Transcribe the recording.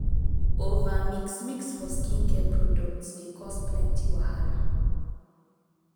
over mix mix for skincare products dey cause plenty wahala.